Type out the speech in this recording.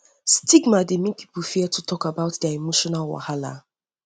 stigma dey um mek pipo um fear to tok about dia emotional wahala